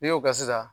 N'i y'o kɛ sisan